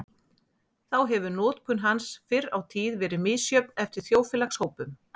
Þá hefur notkun hans fyrr á tíð verið misjöfn eftir þjóðfélagshópum.